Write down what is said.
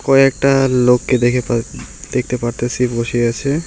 কয়েকটা লোককে দেখে পার দেখতে পারতেসি বসে আছে।